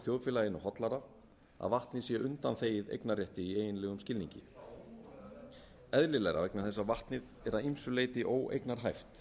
þjóðfélaginu hollara að vatnið sé undanþegið eignarrétti í eiginlegum skilningi eðlilegra vegna þess að vatnið er að ýmsu leyti óeignarhæft